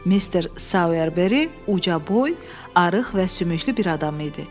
Mr. Sauerberry uca boy, arıq və sümüklü bir adam idi.